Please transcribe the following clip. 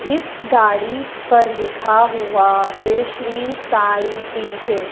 इस गाड़ी पर लिखा हुआ है श्री साईं डी_जे ।